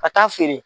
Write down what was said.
Ka taa feere